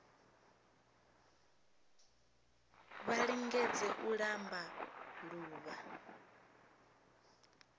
vha lingedze u ṱamba ḓuvha